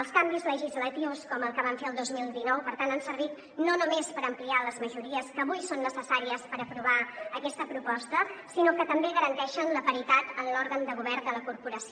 els canvis legislatius com el que vam fer el dos mil dinou per tant han servit no només per ampliar les majories que avui són necessàries per aprovar aquesta proposta sinó que també garanteixen la paritat en l’òrgan de govern de la corporació